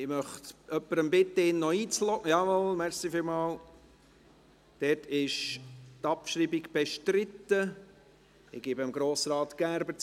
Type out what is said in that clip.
Ich möchte jemanden bitten, ihn noch in die Rednerliste einzuloggen – jawohl, vielen Dank.